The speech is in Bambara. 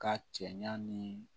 Ka cɛɲa ni